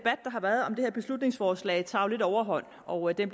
har været om det her beslutningsforslag tager lidt overhånd og den